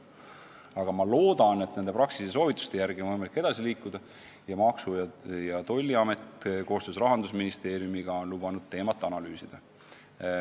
Aga ma loodan, et nende Praxise soovituste järgi on võimalik edasi liikuda ning Maksu- ja Tolliamet ongi lubanud koostöös Rahandusministeeriumiga teemat analüüsida.